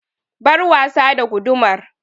Bar wasa da gudumar!